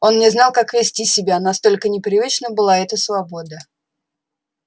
он не знал как вести себя настолько непривычна была эта свобода